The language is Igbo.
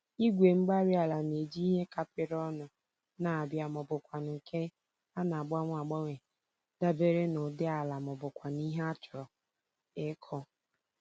Igwe-mgbárí-ala n'eji ihe kapịrị ọnụ n'abia mọbụkwanụ̀ nke ana-agbanwe agbanwe dabere n'ụdị ala mọbụkwanụ̀ ihe achọrọ ịkụ